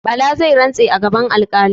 Bala zai rantse a gaban alƙali.